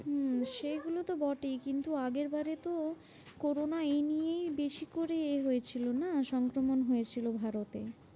হম সেইগুলোতো বটেই কিন্তু আগেরবারে তো corona এই নিয়েই বেশি করে এ হয়েছিল না? সংক্রমণ হয়েছিল ভারতে।